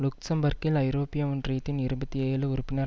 லுக்சம்பர்க்கில் ஐரோப்பிய ஒன்றியத்தின் இருபத்தி ஏழு உறுப்பினர்